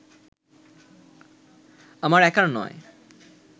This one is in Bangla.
আমার একার নয়